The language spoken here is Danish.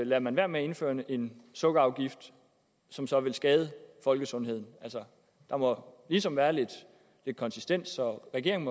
lader man være med at indføre en sukkerafgift som så vil skade folkesundheden der må ligesom være lidt konsistens og regeringen